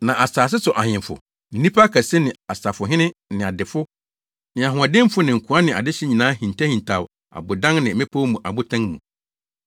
Na asase so ahemfo ne nnipa akɛse ne asafohene ne adefo ne ahoɔdenfo ne nkoa ne adehye nyinaa hintahintaw abodan ne mmepɔw mu abotan mu.